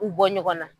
U bɔ ɲɔgɔn na